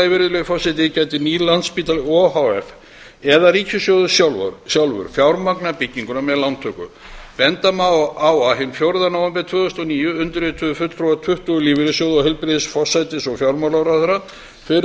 í öðru lagi gæti nýr landspítali o h f eða ríkissjóður sjálfur fjármagnað bygginguna með lántöku benda má á að hinn fjórða nóvember tvö þúsund og níu undirrituðu fulltrúar tuttugu lífeyrissjóða og heilbrigðis forsætis og fjármálaráðherrar fyrir